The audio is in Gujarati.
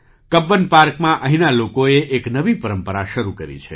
કબ્બન પાર્કમાં અહીંના લોકોએ એક નવી પરંપરા શરૂ કરી છે